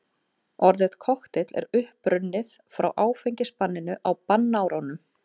Orðið kokteill er upprunnið frá áfengisbanninu á bannárunum.